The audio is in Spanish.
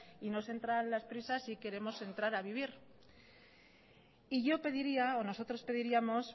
y nos entran las prisas y queremos entrar a vivir y yo pediría o nosotros pediríamos